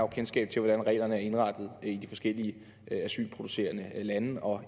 kendskab til hvordan reglerne er indrettet i de forskellige lande hvor